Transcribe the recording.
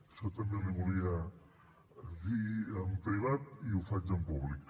això també li ho volia dir en privat i ho faig en públic